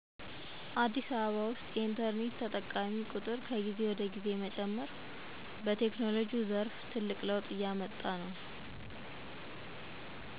አዲስ አበባ ውስጥ የኢንተርኔት ተጠቃሚ ጥቁር መጨመር ትልቅ ለውጥ ነው።